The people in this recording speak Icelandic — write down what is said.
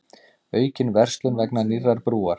Aukin verslun vegna nýrrar brúar